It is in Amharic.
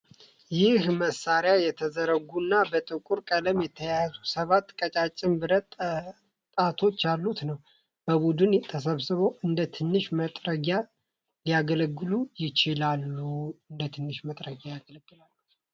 ይህ መሳሪያ የተዘረጉ እና በጥቁር ቀለም የተያዙ ሰባት ቀጫጭን የብረት ጣቶች ያሉት ነው። በቡድን ተሰብስበው እንደ ትንሽ መጥረጊያ ሊያገለግሉ ይችላሉ።